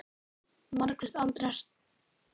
Margrét aldrei sætta sig við.